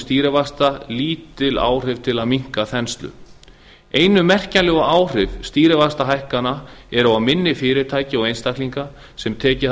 stýrivaxta lítil áhrif til að minnka þenslu einu merkjanlegu áhrif stýrivaxtahækkana eru á minni fyrirtæki og einstaklinga sem tekið